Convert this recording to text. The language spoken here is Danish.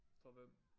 Hvor hvem?